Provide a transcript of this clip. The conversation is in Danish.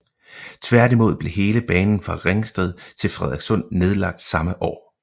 Tværtimod blev hele banen fra Ringsted til Frederikssund nedlagt samme år